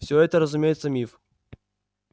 всё это разумеется миф